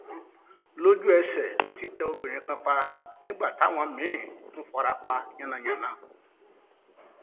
lójúẹsẹ ló ti tẹ obìnrin kan pa nígbà táwọn míín tún fara pa yánnayànna